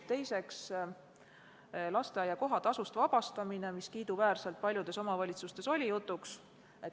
Teiseks, lasteaia kohatasust vabastamine – teema, mis kiiduväärselt oli paljudes omavalitsustes jutuks.